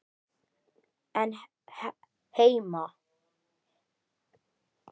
án Hemma.